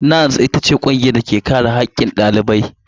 NANS ita ce ƙungiyar da ke kare haƙƙin ɗaliban jami'un Najeriya.